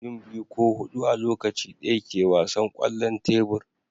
mutum biyu ko hudu a Lokaci daya ke wasan kwallon tebur